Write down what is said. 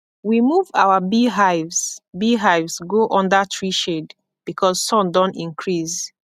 we move our beehives beehives go under tree shade because sun don increase